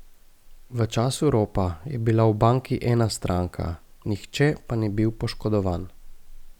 V času ropa je bila v banki ena stranka, nihče pa ni bil poškodovan.